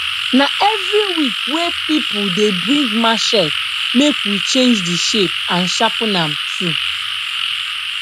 na every week wey pipul dey bring machete make we change de shape and sharpen am too